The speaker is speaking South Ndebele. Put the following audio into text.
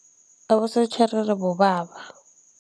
Abosotjherere bobaba.